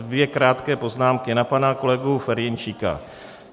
Dvě krátké poznámky na pana kolegu Ferjenčíka.